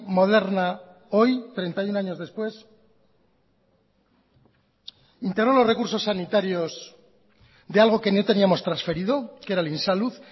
moderna hoy treinta y uno años después integró los recursos sanitarios de algo que no teníamos transferido que era el insalud